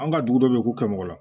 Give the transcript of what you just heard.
An ka dugu dɔ bɛ k'u kɛ mɔgɔ la